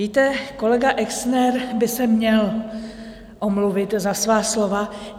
Víte, kolega Exner by se měl omluvit za svá slova.